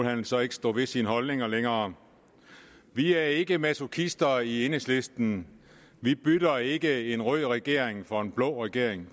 han så ikke stå ved sine holdninger længere vi er ikke masochister i enhedslisten vi bytter ikke en rød regering for en blå regering